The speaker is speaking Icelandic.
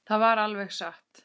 Það var alveg satt.